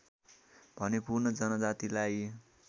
भने पूर्ण जनजातिलाई